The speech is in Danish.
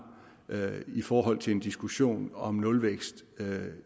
i forhold til en diskussion om nulvækst